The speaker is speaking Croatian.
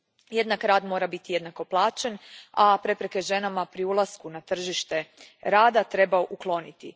Jednak rad mora biti jednako plaćen, a prepreke ženama pri ulasku na tržište rada treba ukloniti.